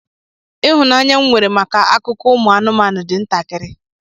Ịhụnanya m nwere maka akụkọ ụmụ anụmanụ dị ntakịrị.